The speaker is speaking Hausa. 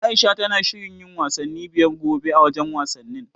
Aisha tana shirin yin wasanni biyar gobe, a wajen wasannin.